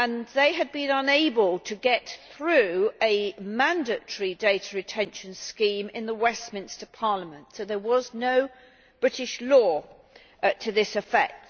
They had been unable to get through a mandatory data retention scheme in the Westminster Parliament, so there was no British law to this effect.